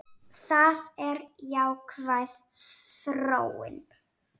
Það er jákvæð þróun.